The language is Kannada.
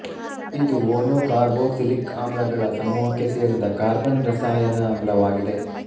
ಇದು ವೋನೋಕಾರ್ಬೋಕ್ಸಿಲಿಕ್ ಆಮ್ಲಗಳ ಸಮೂಹಕ್ಕೆ ಸೇರಿದ ಕಾರ್ಬನ ರಸಾಯನ ಆಮ್ಲವಾಗಿದೆ